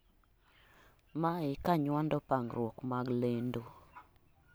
maye kanyuando pangruok mag lendo